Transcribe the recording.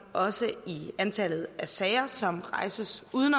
også i antallet af sager som rejses uden